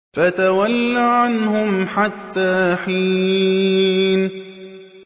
فَتَوَلَّ عَنْهُمْ حَتَّىٰ حِينٍ